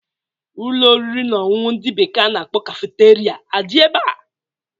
Ụlọ oriri na ọṅụṅụ ndị bekee a na-akpọ kafeteria adị ebea?